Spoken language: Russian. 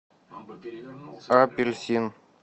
апельсин